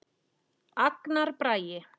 Agnar Bragi.